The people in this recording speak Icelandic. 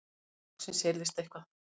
Þá loksins heyrðist eitthvað.